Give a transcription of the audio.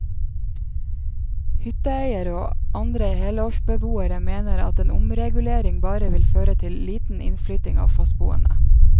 Hytteeiere og andre helårsbeboere mener at en omregulering bare vil føre til liten innflytting av fastboende.